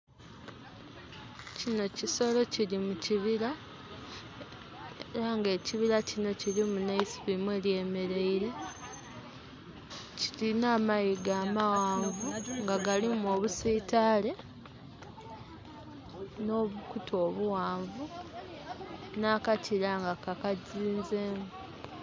Kinho kisolo kiri mu kibira, era nga ekibira kinho kirimu nh'eisubi mwelyemeleire. Kirinha amayiga amaghanvu nga galimu obusiitale nhobukutu obughanvu, nhakakira nga kakazinzemu.